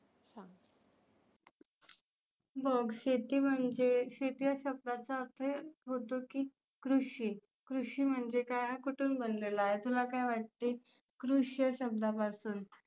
मग शेती म्हणजे शेती या शब्दाचा अर्थ होतो की कृषी. कृषी म्हणजे काय? कुठुन बनलेला आहे? तुला काय वाटते? कृष या शब्दापसून